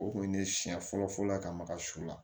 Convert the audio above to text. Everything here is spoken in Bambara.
O kun ye ne siɲɛ fɔlɔ fɔlɔ ka maga su la